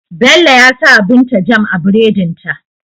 Bello ya sawa binta jam a buredin ta